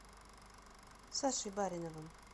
сашей бариновым